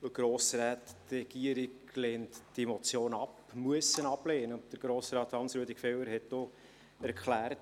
Die Regierung lehnt diese Motion ab, muss sie ablehnen.